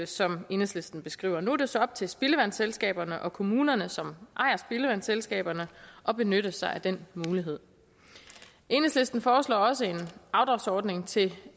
som enhedslisten beskriver nu er det så op til spildevandsselskaberne og kommunerne som ejer spildevandsselskaberne at benytte sig af den mulighed enhedslisten foreslår også en afdragsordning til